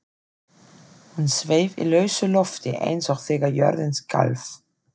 Hún sveif í lausu lofti eins og þegar jörðin skalf.